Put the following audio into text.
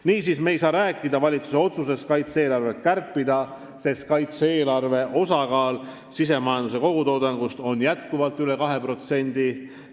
Niisiis, me ei saa rääkida valitsuse otsusest kaitse-eelarvet kärpida, sest kaitse-eelarve osakaal on endiselt üle 2% sisemajanduse kogutoodangust.